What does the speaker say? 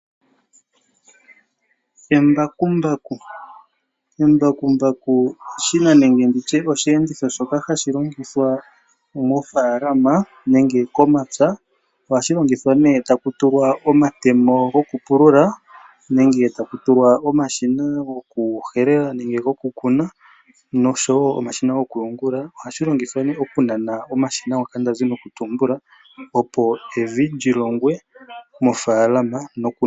Embakumbaku Embakumbaku eshina nenge osheenditho shoka hashi longithwa mofaalama nenge komapya. Ohashi longithwa taku tulwa omatemo gokupulula nenge taku tulwa omashina gokuhelela nenge gokukuna nosho wo omashina gokuyungula. Ohashi longithwa okunana omashina ngoka nda zi nokutumbula, opo evi li longwe.